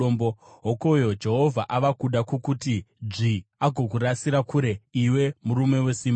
“Hokoyo, Jehovha ava kuda kukuti dzvi, agokurasira kure, iwe murume wesimba.